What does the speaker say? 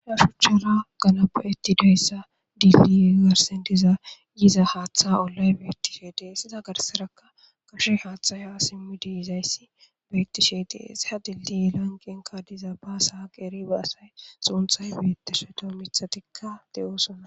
Rashuchchara ganapo7etti deyssa diilli garsen diza yiza haaththa ollay beettishe dee siza garserakka kashe haaththaya simmi diizayssi beettishe deesiha dildi lanqenka diza baasaqeri ba asay xuunthay betteshota mithatikka de7oosonna.